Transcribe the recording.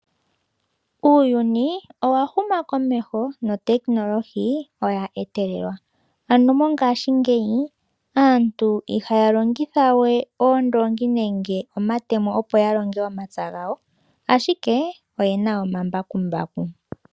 Uuyuni owa huma komeho notekinolohi olya etelelwa ano mongaashingeyi aantu iha ya longithawe oondongi nenge omatemo opo ya longe omapya gawo ashike oye na omambakumbaku.